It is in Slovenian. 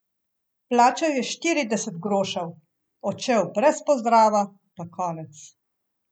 Plačal je štirideset grošev, odšel brez pozdrava, pa konec.